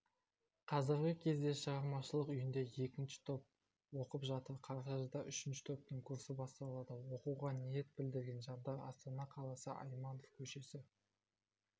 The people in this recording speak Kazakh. қазіргі кезде шығармашылық үйінде екінші топ оқып жатыр қарашада үшінші топтың курсы басталады оқуға ниет білдірген жандар астана қаласы айманов к-сі